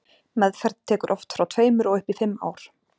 Meðferð tekur oft frá tveimur og upp í fimm ár.